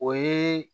O ye